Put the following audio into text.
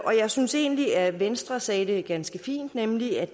og jeg synes egentlig at venstre sagde det ganske fint nemlig at